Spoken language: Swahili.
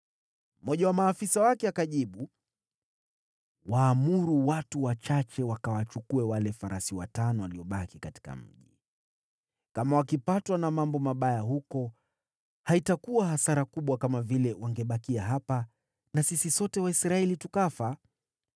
Mmoja wa maafisa wake akajibu, “Waamuru watu wachache wakawachukue farasi watano kati ya wale waliobaki katika mji. Hatima yao itakuwa kama ya Waisraeli wote walio hapa. Watakuwa tu kama Waisraeli hawa ambao wanangoja kifo. Hivyo tuwatumeni wajue kumetendeka nini.”